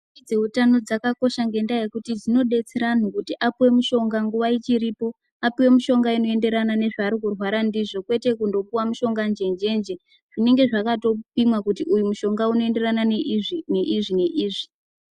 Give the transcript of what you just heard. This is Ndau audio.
Dzeutano dzakakosha ngokuti dzinodetsera antu kuti apuwe mushonga nguwa ichiripo, apuwe mishonga inoenderana nezvaari kurwara ndizvo kwete kundopuwa mushonga njenjenje zvinenge zvakatopimwa kuti uyu mushonga unoenderana neizvi neizvi neizvi.